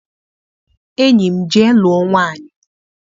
Enyi m, jee lụọ nwaanyị!